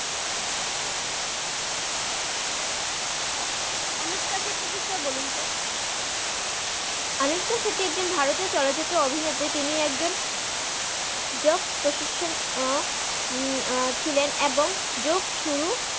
আনুশকা শেত্তির বিষয়ে বলুন তো আনুশকা শীতি একজন ভাতরিও চলচিত্রা অভিনেত্রি তিনি একজন জক প্রপ্সসন ছিলেন এবং জগ সুরু